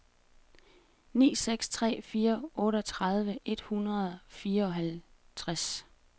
ni seks tre fire otteogtredive et hundrede og fireoghalvtreds